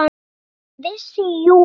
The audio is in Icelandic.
Hann vissi jú allt.